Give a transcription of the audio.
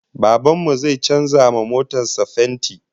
Baban mu zai canza wa motar sa fenti